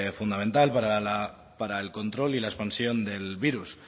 fundamental para el control y la expansión del virus